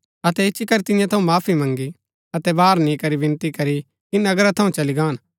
अतै इच्ची करी तियां थऊँ माफी मँगी अतै बाहर नि करी विनती करी कि नगरा थऊँ चली गान